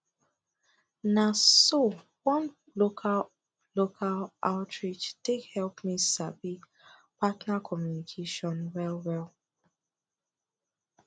na so one local local outreach take help me sabi partner communication well well